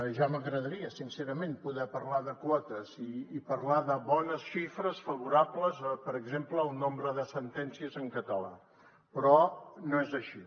ja m’agradaria sincerament poder parlar de quotes i parlar de bones xifres favorables per exemple al nombre de sentències en català però no és així